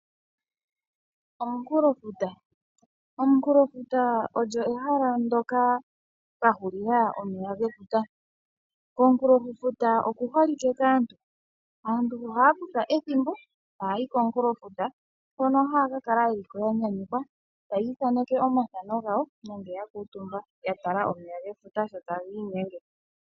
Omunkulofuta Omunkulofuta olyo ohela mpoka pwa hulila omeya gefuta. Komunkulofuta okuholike kaantu. Aantu ohaa kutha ethimbo e taya yi komunkulofuta, hono haya ka kala ya nyanyukwa taya ithaneke omathano gawo, nenge ya kuutumba ya tala omeya gefuta sho taga inyenge.